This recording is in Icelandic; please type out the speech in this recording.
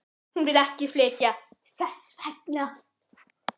Hún vill ekki flytja þess vegna.